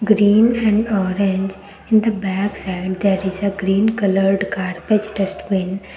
green and orange in the backside there is a green coloured garbage dustbin.